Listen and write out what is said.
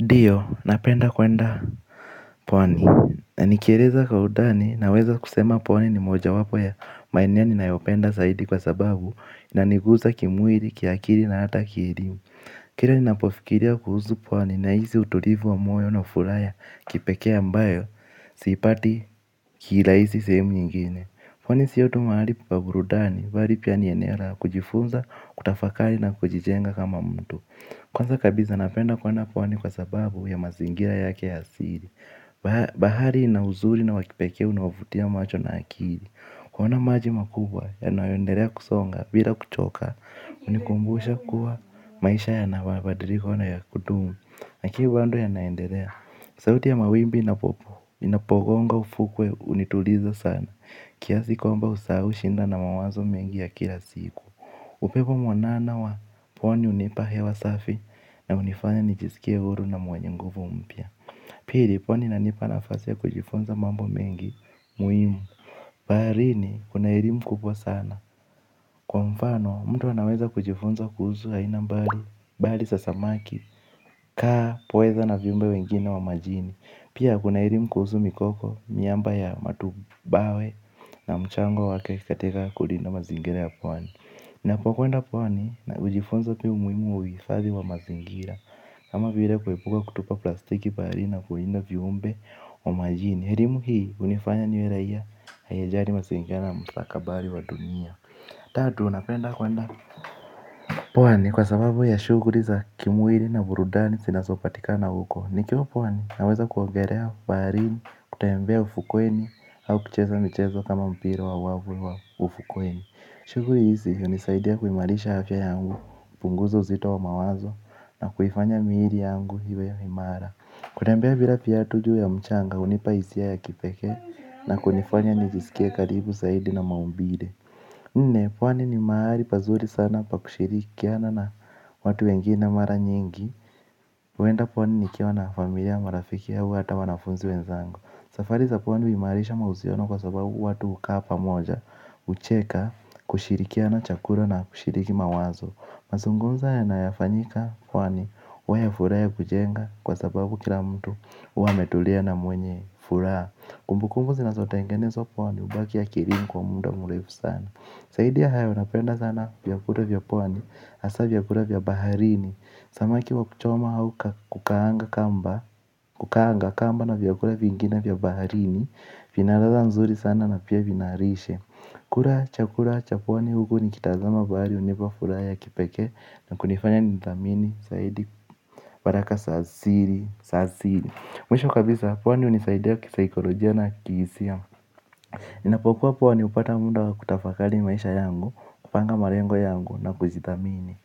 Ndiyo, napenda kwenda pwani na. Nikieleza kwa utani naweza kusema pwani ni moja wapo ya maeneo ninayopenda zaidi kwa sababu inaniguza kimwili, kiakili na hata kihirimu. Kila ninapofikiria kuhusu pwani na hisi utulivu wa moyo na furaha kipekee ambayo sipati kila hizi sehemu nyingine. Pwani sio tu mahali pa burudani, bali pia ni eneo la kujifunza, kutafakari na kujijenga kama mtu. Kwanza kabisa napenda kwenda pwani kwa sababu ya mazingira yake hasili. Bahari ina uzuri na wakipekee unaovutia macho na akili. Kuona maji makubwa yanayoendelea kusonga bila kuchoka. Unikumbusha kuwa maisha yanababadilika na ya kudumu lakini bado yanaendelea. Sauti ya mawimbi inapo inapogonga ufukwe unituliza sana kiasi kwamba usahau shida na mawazo mengi ya kila siku. Upepo mwanana wa pwani unipa hewa safi na unifanya nijisikia huru na mwenye nguvu mpya. Pili pwani inanipa nafasi ya kujifunza mambo mengi muhimu. Baharini kuna ilim kubwa sana. Kwa mfano mtu anaweza kujifunza kuhusu aina mbali bali za samaki kaa pweza na viumbe wengine wa majini. Pia kuna elimu kuhusu mikoko miamba ya matubawe na mchango wake katika kulinda mazingira ya pwani. Napo kwenda pwani na ujifunza pia umuhimu wa uifadhi wa mazingira kama vile kuepuka kutupa plastiki bahari na kulinda viumbe wa majini elimu hii unifanya niwe raia anayejali mazingira na msakabari wa dunia. Tatu napenda kwenda pwani kwa sababu ya shughuli za kimwili na burudani zinazopatikana huko. Nikiwa pwani naweza kuogelea baharini kutembea ufukweni au kucheza mchezo kama mpira wa volleyball ufukweni. Shughuli hizi unisaidia kuimarisha afya yangu, punguza uzito wa mawazo na kuifanya mwili yangu iwe ya imara. Kutembea bila viatu juu ya mchanga hunipa hisia ya kipekee na kunifanya nijisikie karibu zaidi na maumbile. Nne pwani ni mahali pazuri sana pakushirikiana na watu wengine mara nyingi kwenda pwani nikiwa na familia marafiki au hata wanafunzi wenzangu. Safari za pwani huimarisha mahusiano kwa sababu watu hukaa moja. Ucheka kushirikiana chakula na kushiriki mawazo. Mazungumzo yanayofanyika pwani huwa furahaia kujenga kwa sababu kila mtu wametulia na mwenye furaha. Kumbu kumbu zinazotengenezwa pwani hubaki ya kielimu kwa muda mrefu sana zaidi ya hayo napenda sana vyakula vya pwani hasa vyakula vya baharini. Samaki wa kuchoma au ka kukaanga kamba na vyakula vingine vya baharini. Vinaladha mzuri sana na pia vinalishe. Kula chakua cha pwani huku ni kitazama bahari unipa furaha ya kipekee na kunifanya ni thamini, zaidi, baraka za asili, za asili. Mwisho kabisa pwani hunisaidia kisaikolojia na kisi. Ninapokuwa pwani hupata muda wa kutafakari maisha yangu kupanga malengo yangu na kuzithamini.